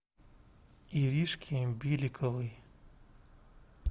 иришке беликовой